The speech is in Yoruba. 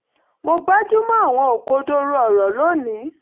mo gbájú mọ́ àwọn òkodoro ọ̀rọ̀ lónìí